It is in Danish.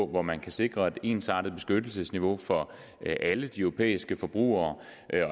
hvor man kan sikre et ensartet beskyttelsesniveau for alle de europæiske forbrugere